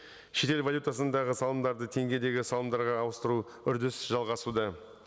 шетел валютасындағы салымдарды теңгедегі салымдарға ауыстыру үрдіс жалғасуда